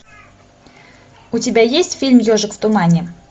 у тебя есть фильм ежик в тумане